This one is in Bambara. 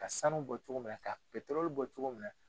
Ka sanu bɔ cogo min na ka bɔ cogo min na.